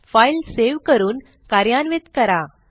file save करून कार्यान्वित करा